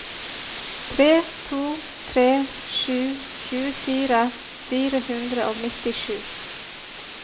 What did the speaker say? tre to tre sju tjuefire fire hundre og nittisju